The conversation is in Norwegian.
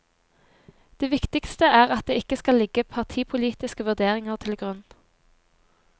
Det viktigste er at det ikke skal ligge partipolitiske vurderinger til grunn.